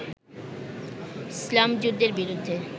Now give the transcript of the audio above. ইছলাম যুদ্ধের বিরুদ্ধে